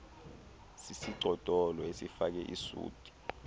sisigcodolo esifake isuti